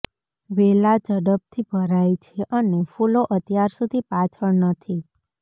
વેલા ઝડપથી ભરાય છે અને ફૂલો અત્યાર સુધી પાછળ નથી